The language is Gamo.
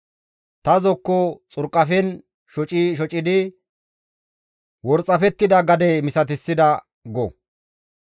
Ta zokko xurqafen shoci shocidi worxafettida gade misatissida» go.